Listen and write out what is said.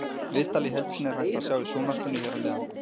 Viðtalið í heild sinni er hægt að sjá í sjónvarpinu hér að neðan.